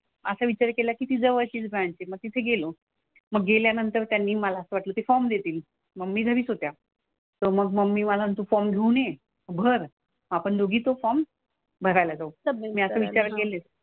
असा विचार केला की ती जवळचीच बँक आहे मग तिथे गेलो. मग गेल्यानंतर त्यांनी मला असं वाटलं की ते फॉर्म देतील. मम्मी घरीच होत्या. तर मग मम्मी मला तू फॉर्म घेऊन ये. भर. आपण दोघी तो फॉर्म भरायला जाऊ. मी असे विचार केले.